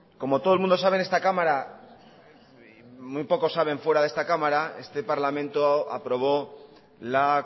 como todo el mundo sabe en esta cámara y muy pocos saben fuera de esta cámara este parlamento aprobó la